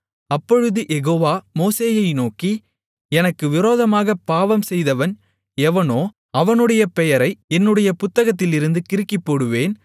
அப்பொழுது யெகோவா மோசேயை நோக்கி எனக்கு விரோதமாகப் பாவம் செய்தவன் எவனோ அவனுடைய பெயரை என்னுடைய புத்தகத்திலிருந்து கிறுக்கிப்போடுவேன்